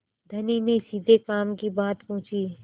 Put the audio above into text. धनी ने सीधे काम की बात पूछी